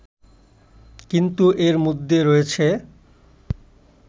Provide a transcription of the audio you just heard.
কিন্তু এর মধ্যে রয়েছে